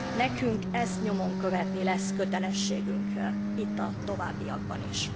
Nekünk ezt nyomon követni lesz kötelességünk itt a továbbiakban is.